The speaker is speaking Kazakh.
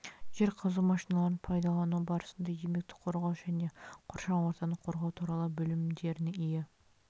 жер қазу машиналарын пайдалану барысында еңбекті қорғау және қоршаған ортаны қорғау туралы білімдеріне ие